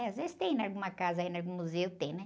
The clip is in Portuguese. Às vezes tem em alguma casa, em algum museu tem, né?